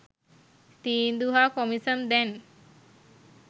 තීන්දු හා කොමිසම් දැන්